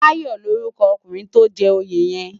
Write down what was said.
Dayo lórúkò òkúnrin tó n jè óyé yèn